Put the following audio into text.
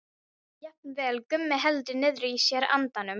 Jafnvel Gummi heldur niðri í sér andanum.